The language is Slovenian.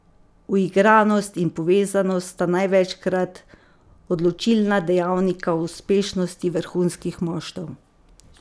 Uigranost in povezanost sta največkrat odločilna dejavnika uspešnosti vrhunskih moštev.